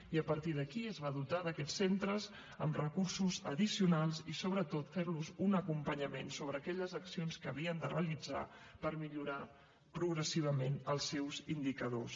i a partir d’aquí es van dotar aquests centres amb recursos addicionals i sobretot fent los un acompanyament sobre aquelles accions que havien de realitzar per millorar progressivament els seus indicadors